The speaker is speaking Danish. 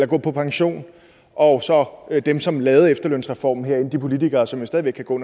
gå på pension og så dem som lavede efterlønsreformen herinde altså de politikere som jo stadig væk kan gå